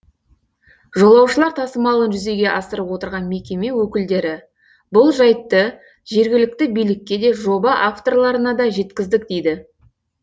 жолаушылар тасымалын жүзеге асырып отырған мекеме өкілдері бұл жайтты жергілікті билікке де жоба авторларына да жеткіздік дейді